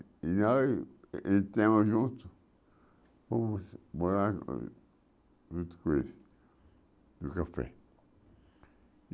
E nós entramos juntos fomos morar junto com eles, no café.